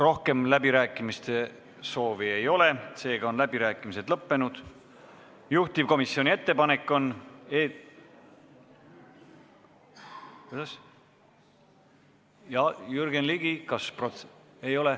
Rohkem läbirääkimiste soovi ei ole, seega on läbirääkimised lõppenud.